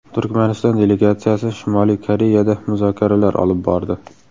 Turkmaniston delegatsiyasi Shimoliy Koreyada muzokaralar olib bordi.